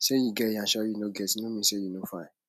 say you get yansh or you no get no mean say you no fine